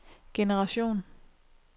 generation